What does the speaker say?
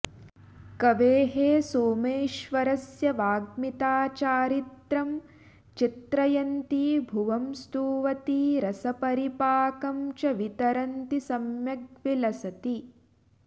कवेः सोमेश्वरस्य वाग्मिता चारित्रं चित्रयन्ती भुवं स्तुवती रसपरिपाकं च वितरन्ती सम्यग् विलसति